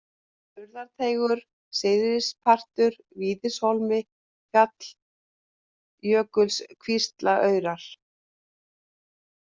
Urðarteigur, Syðstipartur, Víðishólmi, Falljökulskvíslaraurar